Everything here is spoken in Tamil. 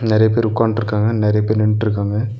நெறைய பேர் உக்காந்ட்ருக்காங்க நெறைய பேர் நின்னுட்ருக்காங்க.